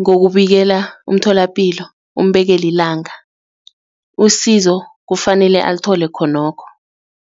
ngokubanikela umtholapilo umbekele ilanga usizo kufanele athole khonokho.